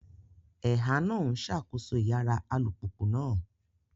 Ẹ̀há náà ń ṣàkóso Ìyára alùpùpù náà